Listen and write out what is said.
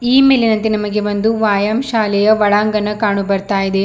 ಈ ಮೇಲಿನಂತೆ ನಮಗೆ ಒಂದು ವಾಯಾಮ ಶಾಲೆಯ ಒಳಾಂಗನ ಕಾಣು ಬರ್ತಾ ಇದೆ.